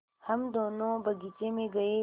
हम दोनो बगीचे मे गये